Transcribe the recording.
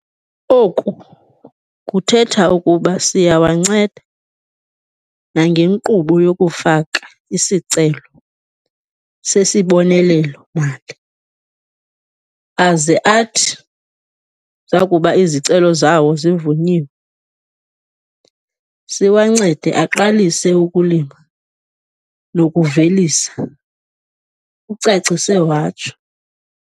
Oku kuthetha ukuba siyawanceda nangenkqubo yokufaka isicelo sesibonelelo-mali aze athi zakuba izicelo zawo zivunyiwe, siwancede aqalise ukulima nokuvelisa," ucacise watsho.